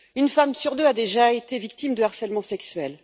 Une femme sur deux a déjà été victime de harcèlement sexuel.